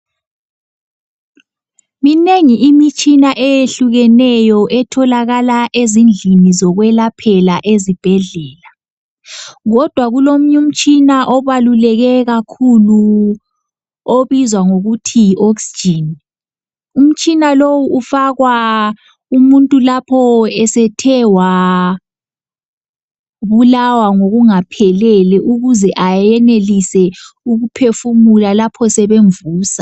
Minengi imitshina eyehlukeneyo etholakala ezindlini zokwelaphela ezibhedlela. Kodwa kulomunye umtshina obaluleke kakhulu obizwa ngokuthi yi oxygen. Umtshina lowu ufakwa umuntu lapho esethe wabulawa ngokungaphelele ukuze ayenelise ukuphefumula lapho sebemvusa.